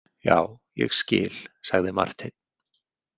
Já, ég skil, sagði Marteinn.